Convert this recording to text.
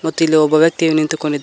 ಮತ್ತು ಇಲ್ಲಿ ಒಬ್ಬ ವ್ಯಕ್ತಿ ನಿಂತುಕೊಂಡಿದ್ದಾ--